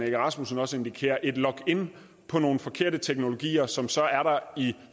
egge rasmussen også indikerer et login på nogle forkerte teknologier som så er der i